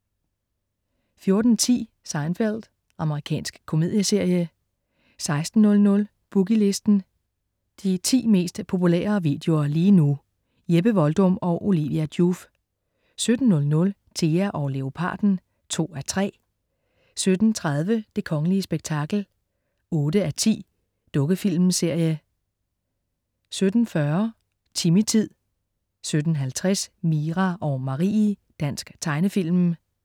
14.10 Seinfeld. Amerikansk komedieserie 16.00 Boogie Listen. De 10 mest populære videoer lige nu. Jeppe Voldum og Olivia Joof 17.00 Thea og Leoparden 2:3 17.30 Det kongelige spektakel 8:10. Dukkefilmsserie 17.40 Timmy-tid 17.50 Mira og Marie. Dansk tegnefilm